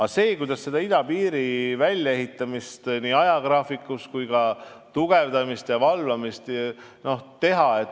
Aga kuidas idapiiri välja ehitada ajagraafikus, piiri tugevdada ja valvata?